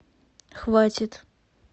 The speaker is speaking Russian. хватит